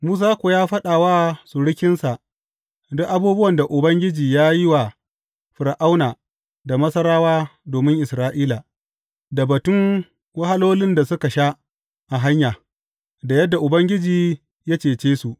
Musa kuwa ya faɗa wa surukinsa duk abubuwan da Ubangiji ya yi wa Fir’auna da Masarawa domin Isra’ila, da batun wahalolin da suka sha a hanya, da yadda Ubangiji ya cece su.